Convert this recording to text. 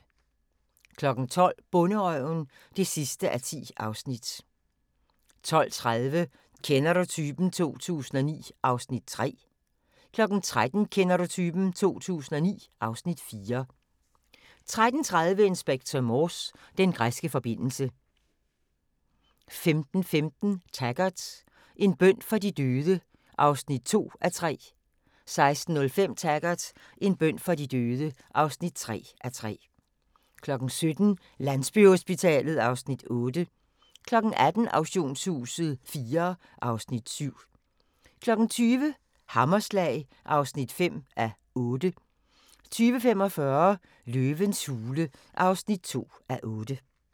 12:00: Bonderøven (10:10) 12:30: Kender du typen? 2009 (Afs. 3) 13:00: Kender du typen? 2009 (Afs. 4) 13:30: Inspector Morse: Den græske forbindelse 15:15: Taggart: En bøn for de døde (2:3) 16:05: Taggart: En bøn for de døde (3:3) 17:00: Landsbyhospitalet (Afs. 8) 18:00: Auktionshuset IV (Afs. 7) 20:00: Hammerslag (5:8) 20:45: Løvens hule (2:8)